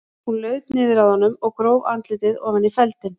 Hún laut niður að honum og gróf andlitið ofan í feldinn.